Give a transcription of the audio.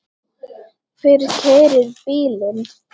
Hver keyrir bílinn?